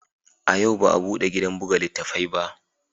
A yau ba a bude gidan buga littattafai ba